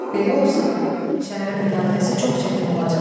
Belə olsa, şəhərin müdafiəsi çox çətin olacaq.